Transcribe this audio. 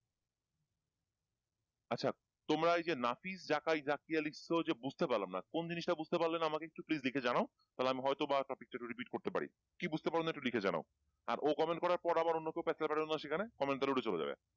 আচ্ছা তোমরা এইযে নাফিজ জাকাই জাকিয়া লিখছো যে বুঝতে পারলাম না কোন জিনিসটা বুঝতে পারলে না আমাকে একটু please লিখে জানাও তাহলে আমি হয়তোবা topic টা একটু repeat করতে পারি কি বুঝতে পারলে না একটু লিখে জানাও আর ও comment করার পর আবার অন্য কেউ প্যাচাল পাইরো না সেখানে comment উঠে চলে যাবে।